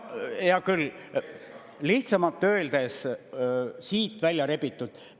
Hea küll, lihtsamalt öeldes siit välja rebitud.